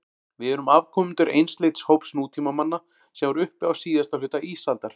Við erum afkomendur einsleits hóps nútímamanna sem var uppi á síðasta hluta ísaldar.